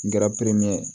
N kɛra peremin ye